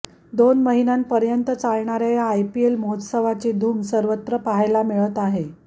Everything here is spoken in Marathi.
दोन महिन्यापर्यंत चालणाऱ्या या आयपीएल महोत्सवाची धूम सर्वत्र पाहायला मिळत आहे